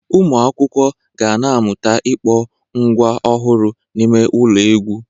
Ụmụ akwụkwọ ga-amụta ịkpọ ngwa ọhụrụ n'ime ụlọ egwu.